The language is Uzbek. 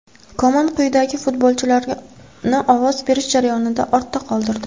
Koman quyidagi futbolchilarni ovoz berish jarayonida ortda qoldirdi: !